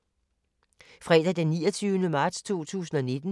Fredag d. 29. marts 2019